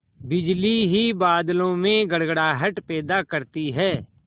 बिजली ही बादलों में गड़गड़ाहट पैदा करती है